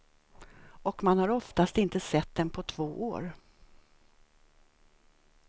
Och man har oftast inte sett dem på två år.